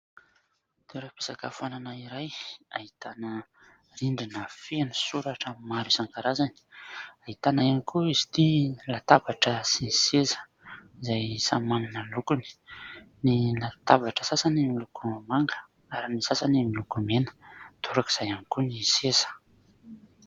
Toeram-pisakafoanana iray ahitana rindrina feno soratra maro isankarazany, ahitana ihany koa izy ity latabatra sy seza izay samy manana ny lokony : ny latabatra sasany miloko manga ary ny sasany miloko mena, torak'izay ihany koa ny seza.